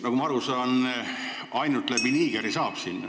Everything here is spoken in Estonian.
Nagu ma aru saan, sinna saab ainult läbi Nigeri.